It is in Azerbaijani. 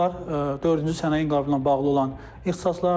Bunlar dördüncü sənayə inqabı ilə bağlı olan ixtisaslardır.